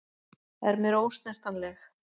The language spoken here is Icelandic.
Er mér ósnertanleg.